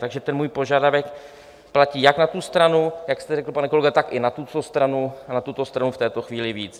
Takže ten můj požadavek platí jak na tu stranu, jak jste řekl, pane kolego, tak i na tuto stranu, a na tuto stranu v této chvíli víc.